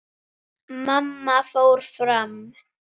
Mamma fór fram.